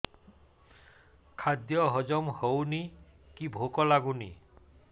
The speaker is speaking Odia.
ଖାଦ୍ୟ ହଜମ ହଉନି କି ଭୋକ ଲାଗୁନି